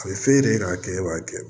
A bɛ f'e de ye k'a kɛ e b'a kɛ